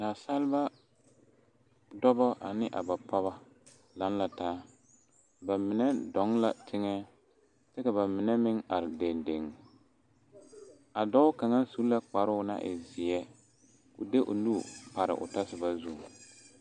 Nasaalba dɔba ane a ba pɔgeba laŋ la taa ba mine dɔɔ la teŋɛ kyɛ ka ba mine meŋ are dendeŋ a dɔɔ kaŋ su la kparoo naŋ e zeɛ k,o de o nu pare o tɔsoba zuŋ.